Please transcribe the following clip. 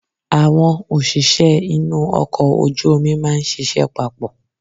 Àwọn òṣìṣẹ́ inú ọkọ̀ ojú omi máa ń ṣiṣẹ́ papọ̀.